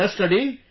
They are studying